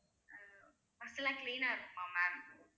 bus லா clean ஆ இருக்குமா ma'am